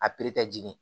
A jigin